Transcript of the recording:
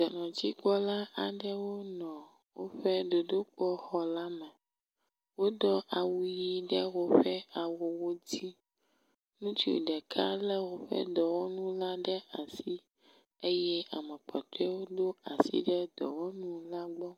….dzikpɔla aɖewo nɔ woƒe dodokpɔ xɔ la me. Wodo awu ʋiwo ɖe woƒe awuwo dzi. Ŋutsu ɖeka lé woƒe dɔwɔnu la ɖe asi eye amekpɔtɔewo do asi ɖe dɔwɔnu la gbɔ